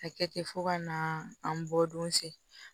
A kɛ ten fo ka na an bɔ don se